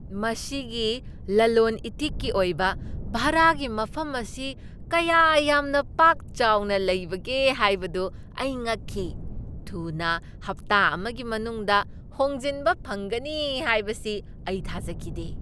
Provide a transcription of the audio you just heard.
ꯃꯁꯤꯒꯤ ꯂꯜꯂꯣꯟꯏꯇꯤꯛꯀꯤ ꯑꯣꯏꯕ ꯚꯥꯔꯥꯒꯤ ꯃꯐꯝ ꯑꯁꯤ ꯀꯌꯥ ꯌꯥꯝꯅ ꯄꯥꯛ ꯆꯥꯎꯅ ꯂꯩꯕꯒꯦ ꯍꯥꯏꯕꯗꯨ ꯑꯩ ꯉꯛꯈꯤ ꯫ ꯊꯨꯅ ꯍꯞꯇꯥ ꯑꯃꯒꯤ ꯃꯅꯨꯡꯗ ꯍꯣꯡꯖꯤꯟꯕ ꯐꯪꯒꯅꯤ ꯍꯥꯏꯕꯁꯤ ꯑꯩ ꯊꯥꯖꯈꯤꯗꯦ!